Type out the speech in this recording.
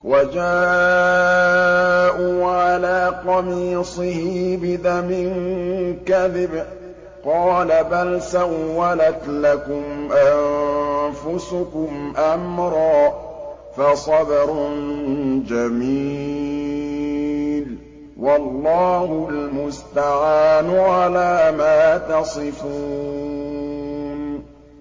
وَجَاءُوا عَلَىٰ قَمِيصِهِ بِدَمٍ كَذِبٍ ۚ قَالَ بَلْ سَوَّلَتْ لَكُمْ أَنفُسُكُمْ أَمْرًا ۖ فَصَبْرٌ جَمِيلٌ ۖ وَاللَّهُ الْمُسْتَعَانُ عَلَىٰ مَا تَصِفُونَ